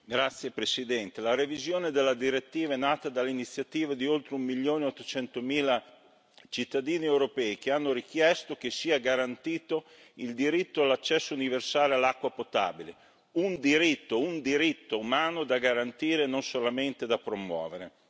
Signora Presidente, onorevoli colleghi, la revisione della direttiva è nata dall'iniziativa di oltre un milione e 800 mila cittadini europei che hanno richiesto che sia garantito il diritto all'accesso universale all'acqua potabile un diritto, un diritto umano da garantire, non solamente da promuovere.